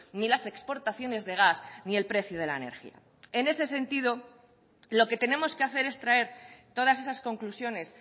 ni las exportaciones de gas ni el precio de la energía en ese sentido lo que tenemos que hacer es traer todas esas conclusiones